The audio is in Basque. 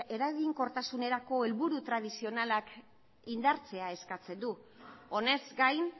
eraginkortasunerako helburu tradizionalak indartzea eskatzen du honez gain